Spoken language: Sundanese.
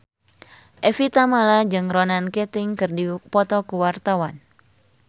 Evie Tamala jeung Ronan Keating keur dipoto ku wartawan